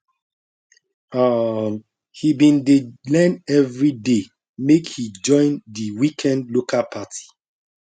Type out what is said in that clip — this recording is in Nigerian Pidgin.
um he bin dey learn everyday make he join the weekend local party